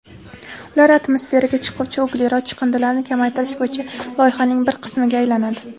ular atmosferaga chiquvchi uglerod chiqindilarini kamaytirish bo‘yicha loyihaning bir qismiga aylanadi.